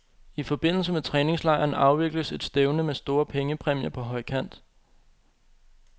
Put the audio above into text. I forbindelse med træningslejren afvikles et stævne med store pengepræmier på højkant.